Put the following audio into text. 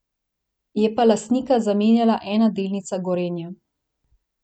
Je pa lastnika zamenjala ena delnica Gorenja.